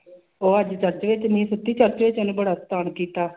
ਉਹ ਅੱਜ ਚਾਚੀ ਸੁੱਤੀ ਨੇ ਬੜਾ ਕੀਤਾ